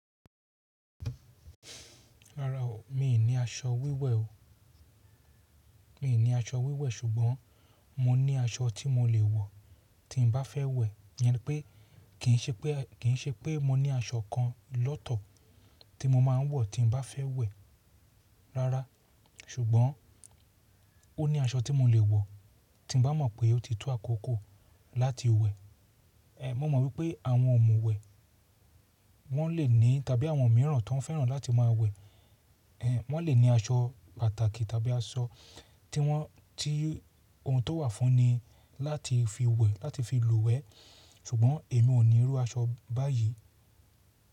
Rárá o, mi ò ní aṣọ wíwẹ̀ o. Mi ò ní aṣọ wíwẹ̀, ṣùgbọ́n mo ní aṣọ tí mo lè wọ̀ tí n bá fẹ́ wẹ̀. Yen nipé, kì í ṣe pé mo ní aṣọ kan lọ́tọ̀ tí mo máa ń wọ̀ tí n bá fẹ́ wẹ̀. Rárá, ṣùgbọ́n ó ní aṣọ tí mo lè wọ̀, tí n bá mọ̀ pé ó ti tó àkókò láti wẹ̀. Mo mọ̀ wípé àwọn ọ̀mùwẹ̀, wọn lè ní tàbí àwọn mìíràn tó fẹ́ràn láti máa wẹ̀, wọn lè ní aṣọ pàtàki, tí ohun tó wà fún ni láti fi wẹ̀, láti fi lùwẹ̀ ṣùgbọ́n èmi ò ní irú aṣọ báyìí.